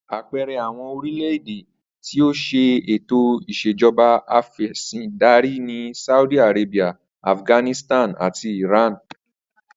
Àpe̩e̩re̩ àwo̩n orílè̩-èdè ti ó s̩e ètò ìs̩ejo̩ba afè̩sìndarí ni Saudi Arabia, Afghanistan àti Iran